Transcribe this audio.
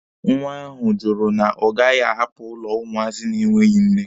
Nwa ahụ jụrụ na ọ gaghị ahapụ ụlọ ụmụazị na-enweghi nne.